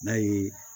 N'a ye